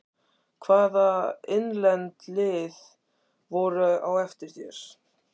Hvaða innlend lið voru á eftir þér?